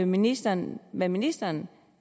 ministeren hvad ministeren